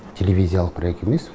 телевизиялық проекті емес